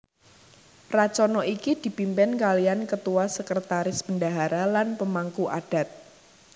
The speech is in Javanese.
Racana iki dipimpin kalian ketua sekretaris bendahara lan pemangku adat